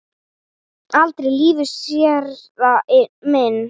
Aldrei í lífinu, séra minn.